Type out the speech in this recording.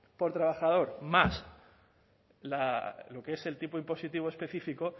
por trabajador más lo que es el tipo impositivo específico